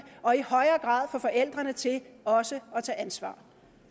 og i højere grad få forældrene til også at tage ansvar